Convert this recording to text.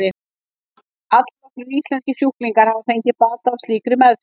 Allnokkrir íslenskir sjúklingar hafa fengið bata af slíkri meðferð.